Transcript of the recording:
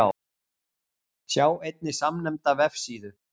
Sjá einnig samnefnda vefsíðu.